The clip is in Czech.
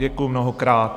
Děkuji mnohokrát.